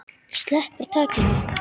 Sleppir takinu.